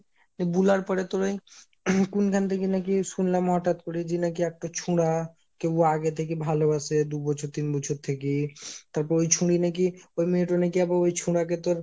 তো বুলার পরে তোর ওই কোনখান থেকে নাকি শুনলাম হটাৎ করে যে নাকি একটা ছুঁড়া, কেউ আগে থেকে ভালোবাসে দু বছর তিন বছর থেকে, তারপর ওই ছুঁড়ে নাকি ওই মেয়েট নাকি ওই ছুঁড়া কে তোর